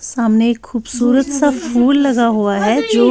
.سامنے خوبصورت سا ۔فھول لگا ہوا ہیں